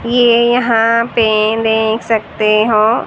ये यहां पे देख सकते हो--